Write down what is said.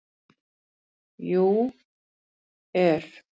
. jú. er.